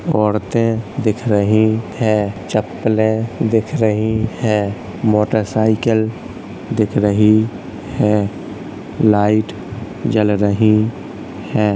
औरतें दिख रही है चप्पले दिख रही हैं मोटरसाइकिल दिख रही है लाइट जल रही है।